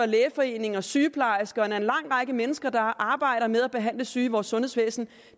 lægeforeningen og sygeplejerskerne og en lang række mennesker der arbejder med at behandle syge i vores sundhedsvæsen